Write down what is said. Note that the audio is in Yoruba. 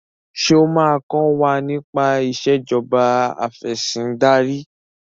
ṣe o ma kò wá nipa Ìṣèjọba Afẹ̀sìndarí